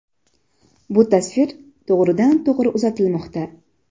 Bu tasvir to‘g‘ridan to‘g‘ri uzatilmoqda.